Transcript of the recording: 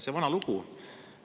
See vana lugu.